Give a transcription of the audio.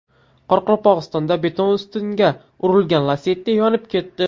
Qoraqalpog‘istonda beton ustunga urilgan Lacetti yonib ketdi.